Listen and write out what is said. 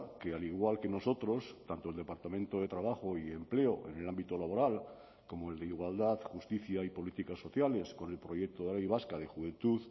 que al igual que nosotros tanto el departamento de trabajo y empleo en el ámbito laboral como el de igualdad justicia y políticas sociales con el proyecto de ley vasca de juventud